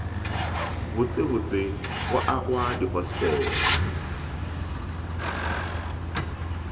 botsebotse go agwa ga dihostele